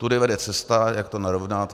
Tudy vede cesta, jak to narovnat.